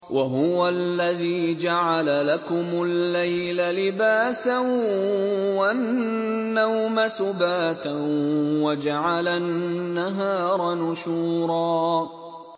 وَهُوَ الَّذِي جَعَلَ لَكُمُ اللَّيْلَ لِبَاسًا وَالنَّوْمَ سُبَاتًا وَجَعَلَ النَّهَارَ نُشُورًا